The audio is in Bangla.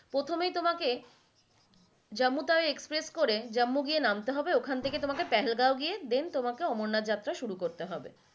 প্রথমেই তোমকে Jammu tawi express করে Jammu গিয়ে নামতে হবে ওখান থাকে পেহেলগাঁও গিয়ে then তোমাকে অমরনাথ যাত্ৰা শুরু করতে হবে।